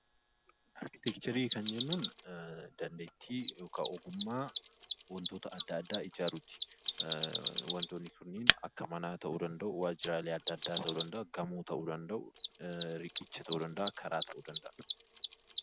Arkitekcherii kan jennuun dandeettii yookaa ogummaa wantoota adda addaa ijaaruu ti. Wantoonni kunniin akka manaa ta'uu danda'u; waajjiraalee ta'uu danda'u; gamoo ta'uu danda'u; riqicha ta'uu danda'a; karaa ta'uu danda'a.